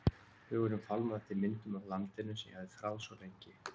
Hugurinn fálmaði eftir myndum af landinu sem ég hafði þráð svo lengi.